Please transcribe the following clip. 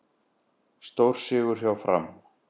Stórsigur hjá Fram